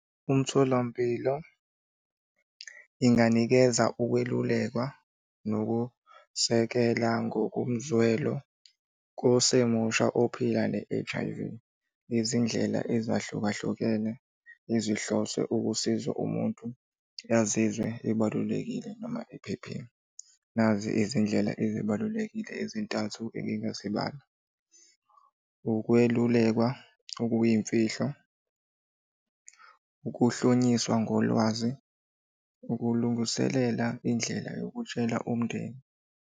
Umtholampilo, inganikeza ukwelulekwa nokusekela ngokomzwelo kosemusha ophila ne-H_I_V, ngezindlela ezahlukahlukene ezihlose ukusiza umuntu azizwe ebalulekile noma ephephile. Nazi izindlela ezibalulekile ezintathu engingazibala. Ukwelulekwa okuyimfihlo, ukuhlonyiswa ngolwazi, ukulungiselela indlela yokutshela umndeni.